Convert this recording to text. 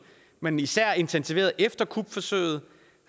men især intensiveret efter kupforsøget